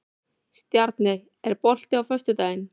Stjarney, er bolti á föstudaginn?